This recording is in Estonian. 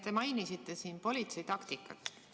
Te mainisite siin politsei taktikat.